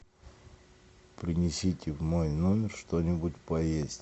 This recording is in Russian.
принесите в мой номер что нибудь поесть